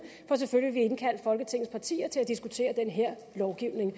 for selvfølgelig indkalde folketingets partier til at diskutere den her lovgivning